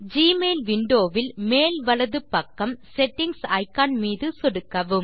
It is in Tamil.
ஜிமெயில் விண்டோ வில் மேல் வலது பக்கம் செட்டிங்ஸ் இக்கான் மீது சொடுக்கவும்